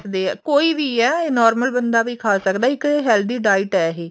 ਦੇ ਕੋਈ ਵੀ ਆ ਇਹ normal ਬੰਦਾ ਵੀ ਖਾ ਸਕਦਾ ਇੱਕ healthy diet ਆ ਇਹ